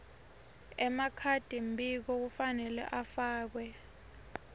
emakhadimbiko kufanele afake